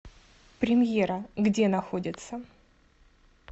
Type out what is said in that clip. премьера где находится